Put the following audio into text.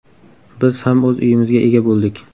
Biz ham o‘z uyimizga ega bo‘ldik.